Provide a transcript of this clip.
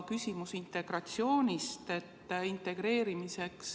Küsimus on ka integratsioonist.